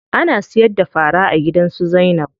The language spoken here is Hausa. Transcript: Ana siyar da fara a gidan su Zainab.